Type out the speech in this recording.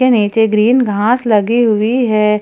नीचे ग्रीन घाँस लगी हुई है।